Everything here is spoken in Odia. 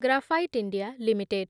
graphite India limited